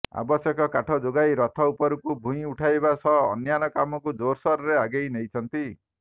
ଆବଶ୍ୟକ କାଠ ଯୋଗାଇ ରଥ ଉପରକୁ ଭୂଇଁ ଉଠାଇବା ସହ ଅନ୍ୟାନ୍ୟ କାମକୁ ଜୋର୍ସୋର୍ରେ ଆଗେଇ ନେଇଛନ୍ତି